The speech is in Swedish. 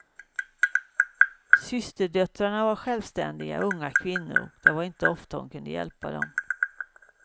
Systerdöttrarna var självständiga unga kvinnor, och det var inte ofta hon kunde hjälpa dem.